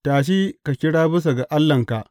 Tashi ka kira bisa ga allahnka!